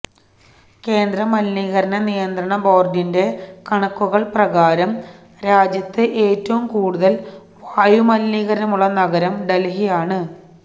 കേന്ദ്ര മലിനീകരണ നിയന്ത്രണ ബോര്ഡിന്റെ കണക്കുകള് പ്രകാരം രാജ്യത്ത് ഏറ്റവും കൂടുതല് വായുമലിനീകരണമുള്ള നഗരം ഡല്ഹിയാണ്